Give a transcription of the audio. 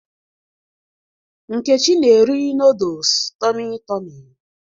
Nkechi na-eri nooduls Tọmị Tọmị